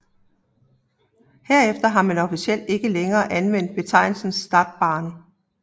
Herefter har man officielt ikke længere anvendt betegnelsen Stadtbahn